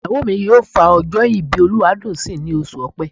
Ìyàwó mi yóò fa ọjọ́ ìbí Olúwadùnńsìn ní oṣù Ọ̀pẹ.